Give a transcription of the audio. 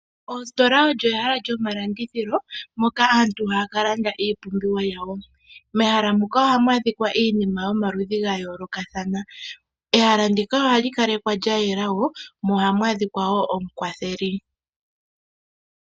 Ositola oyo ehala lyomalandithilo moka aantu haya ka landa iipumbiwa yawo . Mehaha muka ohamu adhika iinima yomaludhi ga yoolokathana . Ehala ndika ohali kalekwa lyayela wo mo ohamu adhika wo omukwatheli.